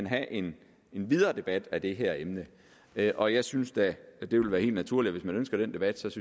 have en videre debat af det her emne og jeg synes da at det vil være helt naturligt og man ønsker den debat synes